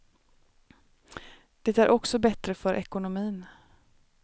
Det är också bättre för ekonomin.